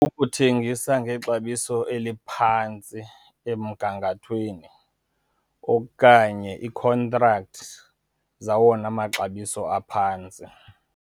Ukuthengisa ngexabiso eliphantsi emgangathweni, okanye iikhontrakthi zawona maxabiso aphantsi.